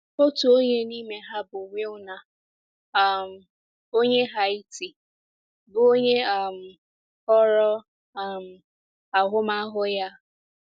Otu onye n’ime ha bụ Wilner um onye Haiti, bụ́ onye um kọrọ um ahụmahụ ya a.